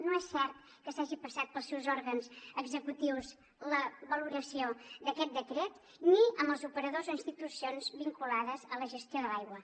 no és cert que s’hagi passat pels seus òrgans executius la valoració d’aquest decret ni amb els operadors o institucions vinculades a la gestió de l’aigua